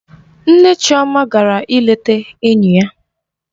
Nne Chioma gara ịleta enyi ya.